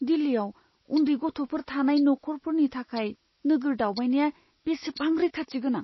दिल्लीयाव उन्दै गथ'फोर थानाय नखरफोरनि थाखाय नोगोर दावबायनाया बेसेबां रैखाथि गोनां?